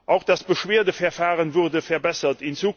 Auch das Beschwerdeverfahren wurde verbessert.